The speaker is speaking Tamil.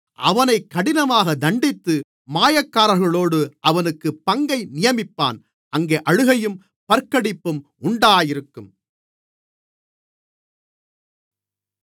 அவனைக் கடினமாகத் தண்டித்து மாயக்காரர்களோடு அவனுக்குப் பங்கை நியமிப்பான் அங்கே அழுகையும் பற்கடிப்பும் உண்டாயிருக்கும்